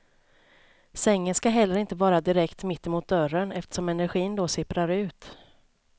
Sängen ska heller inte vara direkt mittemot dörren eftersom energin då sipprar ut.